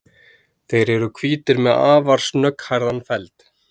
þeir eru hvítir með afar snögghærðan feld